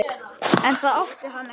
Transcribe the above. En það átti hann ekki.